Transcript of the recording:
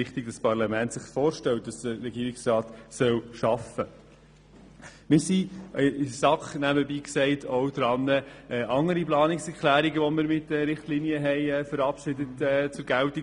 Nebenbei gesagt, sind wir in der SAK auch daran, andere Planungserklärungen zur Geltung zu bringen, die wir mit diesen Richtlinien verabschiedet haben.